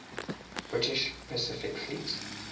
british pacific fleet